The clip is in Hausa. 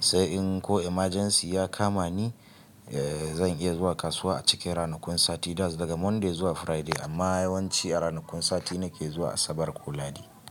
Sai in ko emergency ya kama ni, eh zan iya zuwa kasuwa a cikin ranakun sati, That's daga Monday zuwa Friday. Amma yawanci a ranakun sati nake zuwa, Asabar ko Lahadi.